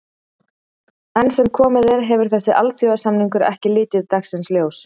Enn sem komið er hefur þessi alþjóðasamningur ekki litið dagsins ljós.